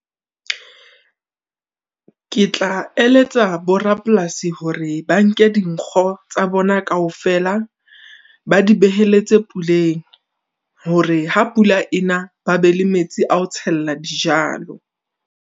Ke tla eletsa bo rapolasi hore ba nke dinkgo tsa bona kaofela, ba di beheletse puleng, hore ha pula ena ba be le metsi a ho tshella dijalo.